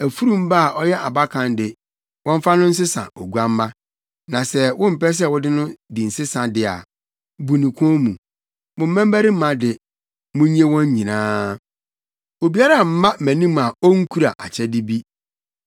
Afurum ba a ɔyɛ abakan de, wɔmfa no nsesa oguamma. Na sɛ wompɛ sɛ wode no di nsesa de a, bu ne kɔn mu. Mo mmabarima de, munnye wɔn nyinaa. “Obiara mma mʼanim a onkura akyɛde bi.